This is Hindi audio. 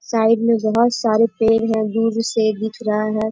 साईड में बहुत सारे पेड़ हैं। दूर से दिख रहा है।